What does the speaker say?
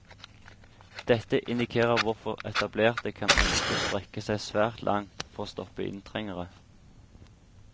Dette indikerer hvorfor etablerte kan ønske å strekke seg svært langt for å stoppe inntrengere.